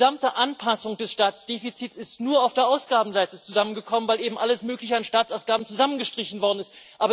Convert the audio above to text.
Die gesamte Anpassung des Staatsdefizits ist nur auf der Ausgabenseite zusammengekommen, weil eben alles Mögliche an Staatsausgaben zusammengestrichen worden ist.